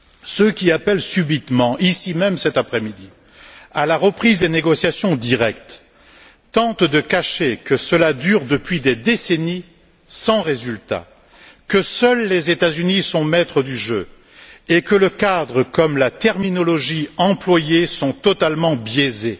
Ceux qui appellent subitement, ici même cet après midi, à la reprise des négociations directes tentent de cacher que cela dure depuis des décennies sans résultat, que seuls les États Unis sont maîtres du jeu et que le cadre comme la terminologie employée sont totalement biaisés.